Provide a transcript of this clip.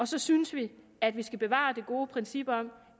så synes vi at man skal bevare det gode princip om